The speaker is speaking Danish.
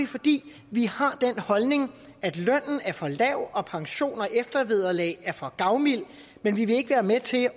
fordi vi har den holdning at lønnen er for lav og pensioner og eftervederlag er for gavmilde men vi vil ikke være med til